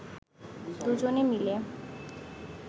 দু’জনে মিলে